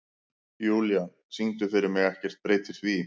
Júlían, syngdu fyrir mig „Ekkert breytir því“.